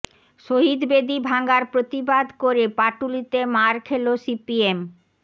শহিদ বেদি ভাঙার প্রতিবাদ করে পাটুলিতে মার খেল সিপিএম